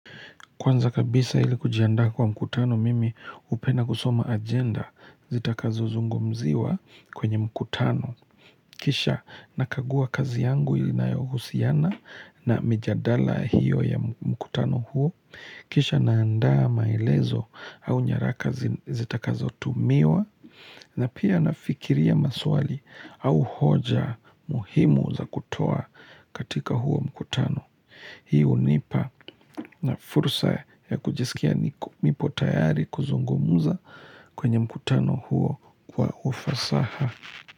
Kwanza kabisa ilikujianda kwa mkutano mimi hupenda kusoma agenda zita kazo zungumziwa kwenye mkutano. Kisha nakagua kazi yangu inayohusiana na mijadala hiyo ya mkutano huo. Kisha naanda maelezo au nyaraka zita kazo tumiwa na pia nafikiria maswali au hoja muhimu za kutoa katika huo mkutano. Hii hunipa fursa ya kujisikia niko nipo tayari kuzungumuza kwenye mkutano huo kwa ufasaha.